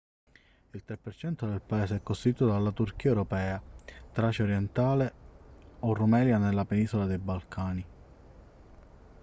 il 3% del paese è costituito dalla turchia europea tracia orientale o rumelia nella penisola dei balcani